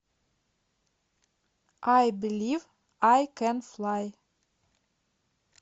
ай белив ай кэн флай